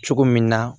Cogo min na